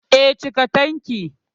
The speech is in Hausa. Eh, cika tankin